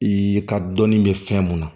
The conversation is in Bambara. I ka dɔnni bɛ fɛn mun na